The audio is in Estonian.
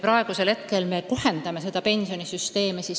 Praegu me kohendame seda pensionisüsteemi.